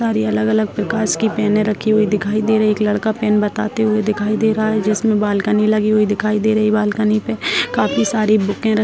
सारे अलग-अलग प्रकाश की पेने रखी हुई दिखाई दे रही है एक लड़का पेन बताते हुए दिखाई दे रहा है जिसमे बालकनी लगी हुई दिखाई दे रही है बालकनी पे काफी सारी बूके --